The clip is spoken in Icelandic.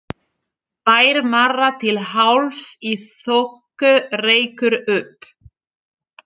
Bæir mara til hálfs í þoku, reykur upp